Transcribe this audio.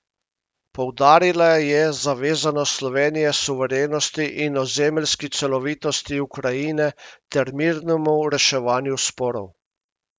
Poudarila je zavezanost Slovenije suverenosti in ozemeljski celovitosti Ukrajine ter mirnemu reševanju sporov.